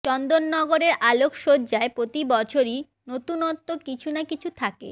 চন্দননগরের আলোকসজ্জায় প্রতি বছরই নতুনত্ব কিছু না কিছু থাকে